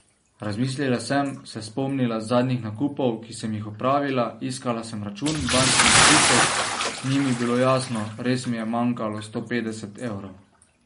Razmislila sem, se spomnila zadnjih nakupov, ki sem jih opravila, iskala sem račun, bančni izpisek, ni mi bilo jasno, res mi je manjkalo sto petdeset evrov.